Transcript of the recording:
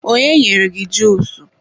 onye nyere gị juusu?